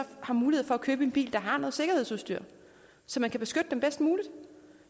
har mulighed for at købe en bil der har noget sikkerhedsudstyr så man kan beskytte dem bedst muligt